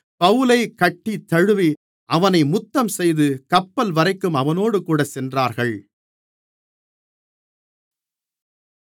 பவுலைக் கட்டித்தழுவி அவனை முத்தம் செய்து கப்பல்வரைக்கும் அவனோடுகூடச் சென்றார்கள்